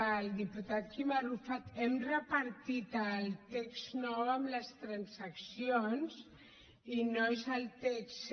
al diputat quim arrufat hem repartit el text nou amb les transaccions i no és el text